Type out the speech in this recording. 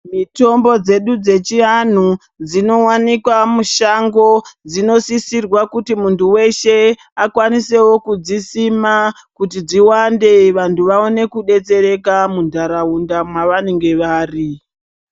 Mitombo dzedu dzechianhu dzinowanikwa mushango dzinosisirwa kuti muntu weshe akwanisewo kudzisima kuti dziwande vantu vaone kudetsereka munharaunda mwavanenge vari